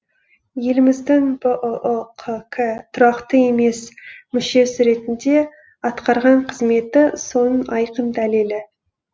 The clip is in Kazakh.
еліміздің бұұ қк тұрақты емес мүшесі ретінде атқарған қызметі соның айқын дәлелі